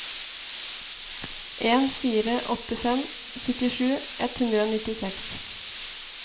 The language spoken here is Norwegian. en fire åtte fem syttisju ett hundre og nittiseks